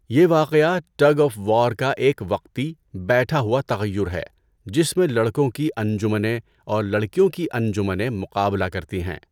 یہ واقعہ tug of war کا ایک وقتی، بیٹھا ہوا تغیر ہے جس میں لڑکوں کی انجمنیں اور لڑکیوں کی انجمنیں مقابلہ کرتی ہیں۔